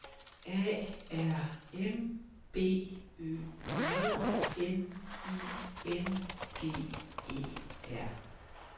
A R M B Ø J N I N G E R